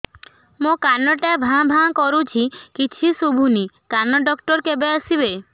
ମୋ କାନ ଟା ଭାଁ ଭାଁ କରୁଛି କିଛି ଶୁଭୁନି କାନ ଡକ୍ଟର କେବେ ଆସିବେ